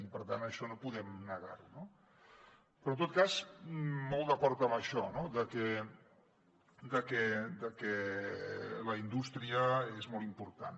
i per tant això no podem negar ho no però en tot cas molt d’acord amb això no que la indústria és molt important